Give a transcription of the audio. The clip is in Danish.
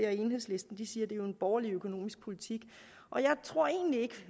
at enhedslisten siger det er en borgerlig økonomisk politik og jeg tror egentlig ikke